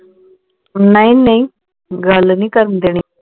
ਨਹੀਂ ਨਹੀਂ ਗੱਲ ਨਹੀਂ ਕਰਣ ਦੇਣੀ